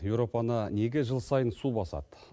еуропаны неге жыл сайын су басады